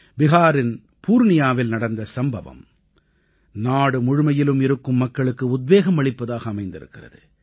பிஹாரின் பூர்ணியாவில் நடந்த சம்பவம் நாடு முழுமையிலும் இருக்கும் மக்களுக்கு உத்வேகம் அளிப்பதாக அமைந்திருக்கிறது